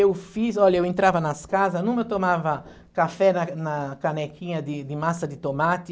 Eu fiz, olha, eu entrava nas casas, numa eu tomava café na na canequinha de de massa de tomate.